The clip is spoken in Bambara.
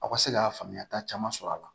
Aw ka se ka faamuyata caman sɔrɔ a la